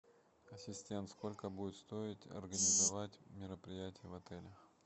ассистент сколько будет стоить организовать мероприятие в отеле